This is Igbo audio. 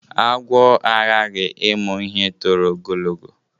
Agwọ agaghị ịmụ ihe toro ogologo.